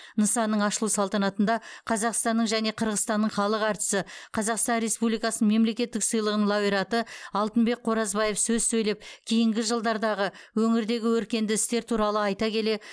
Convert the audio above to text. нысанның ашылу салтанатында қазақстанның және қырғызстанның халық әртісі қазақстан республикасының мемлекеттік сыйлығының лауреаты алтынбек қоразбаев сөз сөйлеп кейінгі жылдардағы өңірдегі өркенді істер туралы айта келе